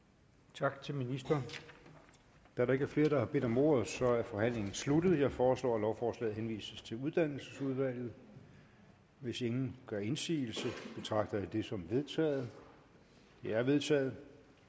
tak til ministeren da der ikke er flere der har bedt om ordet er forhandlingen sluttet jeg foreslår at lovforslaget henvises til uddannelsesudvalget hvis ingen gør indsigelse betragter jeg det som vedtaget det er vedtaget